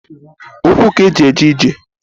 Ukwu k'e ji eje ije.